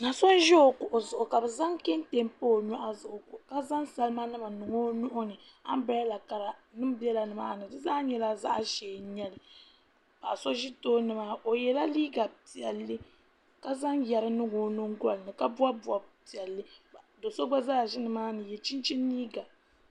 Do so n ʒi o kuɣu zuɣu ka bi zaŋ kɛntɛ pa o nyoɣu zuɣu ka zaŋ salima nima n niŋ o nuhuni anbirɛla kara nim biɛka nimaani di zaa nyɛla zaɣ ʒiɛ n nyɛli paɣa so ʒi tooni maa o yɛla liiga piɛlli ka zaŋ yɛri niŋ o nyingoli ni ka bob bob piɛlli do so gba zaa ʒi nimaani n yɛ chinchin liiga